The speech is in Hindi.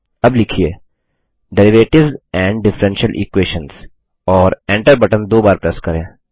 अब लिखिए डेरिवेटिव्स एंड डिफरेंशियल Equations और Enter बटन दो बार प्रेस करें